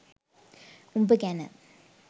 උඹ ගැන